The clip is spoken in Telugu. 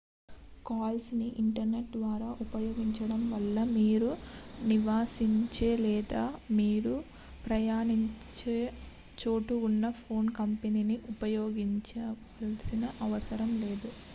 కాల్స్ ని ఇంటర్నెట్ ద్వారా ఉపయోగించడం వలన మీరు నివసించే లేదా మీరు ప్రయాణించే చోట ఉన్న ఫోన్ కంపెనీని ఉపయోగించాల్సిన అవసరం లేదు